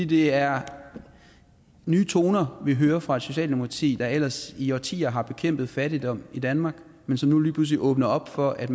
det er nye toner vi hører fra socialdemokratiet der ellers i årtier har bekæmpet fattigdom i danmark men som nu lige pludselig åbner op for at